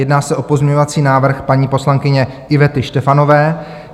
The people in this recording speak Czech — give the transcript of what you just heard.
Jedná se o pozměňovací návrh paní poslankyně Ivety Štefanové.